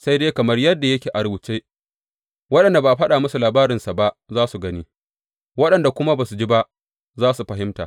Sai dai kamar yadda yake a rubuce, Waɗanda ba a faɗa musu labarinsa ba za su gani, waɗanda kuma ba su ji ba za su fahimta.